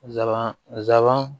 Zaban zan